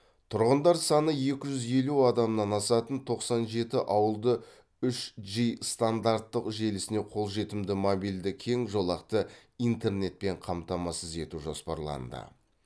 тұрғындар саны екі жүз елу адамнан асатын тоқсан жеті ауылды үш джи стандартты желісіне қолжетімді мобильді кең жолақты интернетпен қамтамасыз ету жоспарланды